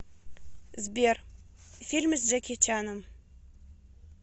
сбер фильмы с джеки чаном